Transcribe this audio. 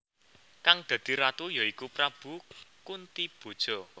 Kang dadi Ratu ya iku Prabu Kuntiboja